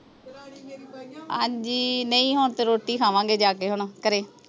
ਹਾਂਜੀ ਨਹੀਂ ਹੁਣ ਤੇ ਰੋਟੀ ਖਾਵਾਂਗੇ ਜਾ ਕੇ ਹੁਣ ਘਰੇ